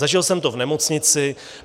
Zažil jsem to v nemocnici.